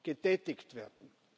getätigt werden.